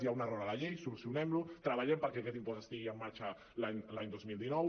hi ha un error a la llei solucionem lo treballem perquè aquest impost estigui en marxa l’any dos mil dinou